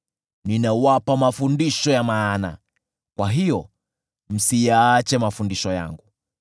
Ninawapa mafundisho ya maana, kwa hiyo msiyaache mafundisho yangu.